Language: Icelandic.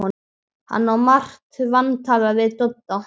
Hann á margt vantalað við Dodda.